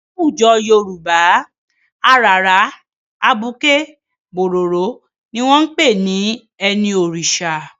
Láwùjọ Yorùbá, àràrá, abuké, bòròró ni wọn ń pè ní ẹni Òrìṣà.